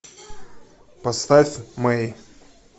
поставь мэй